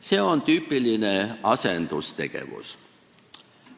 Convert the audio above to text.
See on tüüpiline asendustegevus.